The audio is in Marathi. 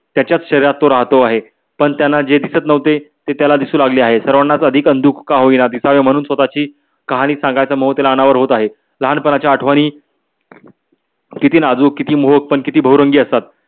त्याचाच शरीरात तो राहतो आहे. पण त्यांना जे दिस्त नव्हते ते त्याला दिसू लागले आहे. सर्वांनाच अधिक अंधुक का होईन दिसावे म्हणून स्वतची कहाणी सांगायच मोह त्याला अनावर होत आहे. लहान पणा च्या आठवणी कीती नाजुक कीती मोहक पण कीती बहुरंगी असतात.